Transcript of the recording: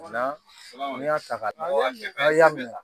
n'i y'a ta ka minɛ